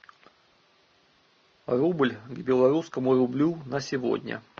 рубль к белорусскому рублю на сегодня